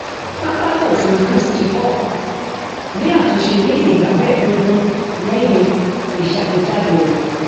pápákọ òfurufú schipol ni àtúnṣe ní ìgbà mẹẹdógún lẹyìn ìṣàgbéjáde rẹ